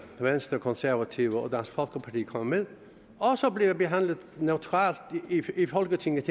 venstre konservative og dansk folkeparti kommer med også bliver behandlet neutralt i folketinget